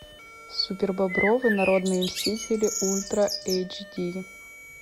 супербобровы народные мстители ультра эйч ди